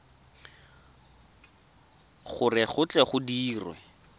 gore go tle go dirwe